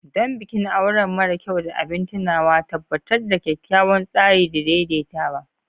Don bikin aure mara kyau da abin tunawa, tabbatar da kyakkyawan tsari da daidaitawa.